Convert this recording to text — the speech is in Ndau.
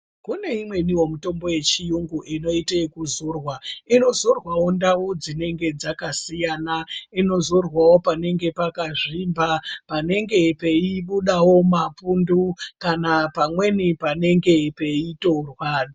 Kune imweniwo mitombo yechiyungu inoitwe ekuzorwa. lnozorwarwawo ndau dzinenge dzakasiyana ,inozorwawo panenge pakazvimba, panenge peibudawo mapundu kana panenge peitorwa.